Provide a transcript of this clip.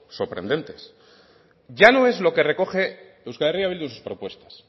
sorprendentes ya no es lo que recoge euskal herria bildu en sus propuestas